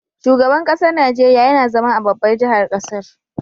Shugaban ƙasar Nigeria YAna zama a babbar jahar ƙasar